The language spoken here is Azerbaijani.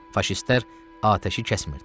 Faşistlər atəşi kəsmirdilər.